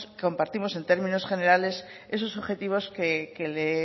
compartimos en términos generales esos objetivos que se